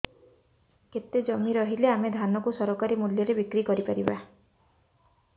କେତେ ଜମି ରହିଲେ ଆମେ ଧାନ କୁ ସରକାରୀ ମୂଲ୍ଯରେ ବିକ୍ରି କରିପାରିବା